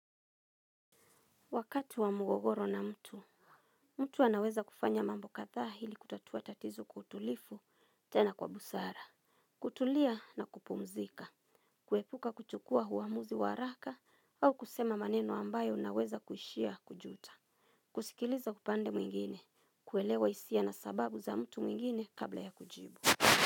Wakati wa mgogoro na mtu, mtu anaweza kufanya mambo katha hili kutatua tatizo kwa utulifu tena kwa busara. Kutulia na kupumzika, kuepuka kuchukua huamuzi waraka au kusema maneno ambayo naweza kushia kujuta. Kusikiliza kupande mwingine, kuelewa isia na sababu za mtu mwingine kabla ya kujibu.